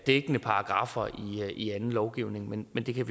dækkende paragraffer i anden lovgivning men men det kan